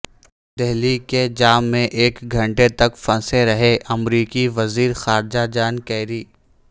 دہلی کے جام میں ایک گھنٹے تک پھنسے رہے امریکی وزیر خارجہ جان کیری